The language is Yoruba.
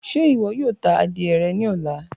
Ṣe iwọ yoo ta adie rẹ ni ọla?